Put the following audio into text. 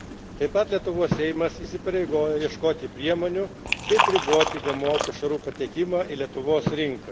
Taip pat Lietuvos Seimas įsipareigoja ieškoti priemonių, kaip riboti GMO pašarų pateikimą į Lietuvos rinką.